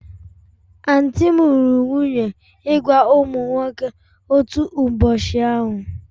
Aunty m lụrụ nwunye ịgwa ụmụ nwoke otu ụbọchị ahụ